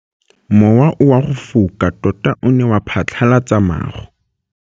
Mowa o wa go foka tota o ne wa phatlalatsa maru.